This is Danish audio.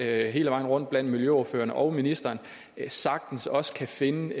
er hele vejen rundt blandt miljøordførerne og ministeren sagtens også finde